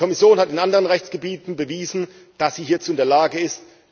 Die Kommission hat in anderen Rechtsgebieten bewiesen, dass sie hierzu in der Lage ist.